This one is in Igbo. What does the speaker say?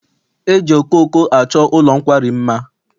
E ji okooko achọ ụlọ nkwari mma.